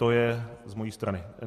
To je z mé strany.